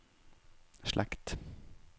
slekt